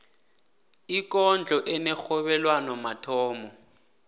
ikondlo enerhobelwano mathomo